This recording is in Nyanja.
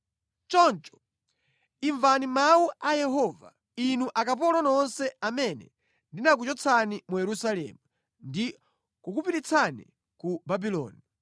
Choncho, imvani mawu a Yehova, inu akapolo nonse amene ndinakuchotsani mu Yerusalemu ndi kukupititsani ku Babuloni.